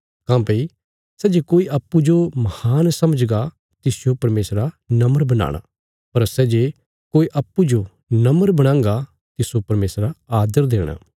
काँह्भई सै जे कोई अप्पूँजो महान समझगा तिसजो परमेशरा नम्र बनाणा पर सै जे कोई अप्पूँजो नम्र बणांगा तिस्सो परमेशरा आदर देणा